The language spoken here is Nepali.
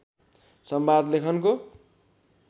संवाद लेखनको